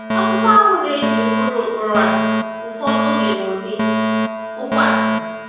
Akwụkwọ ahụ na-eji ụkpụrụ ụkpụrụ a ụfọdụ oge n’ụdị okwu atụ.